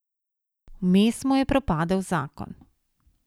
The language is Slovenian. Vmes mu je propadel zakon.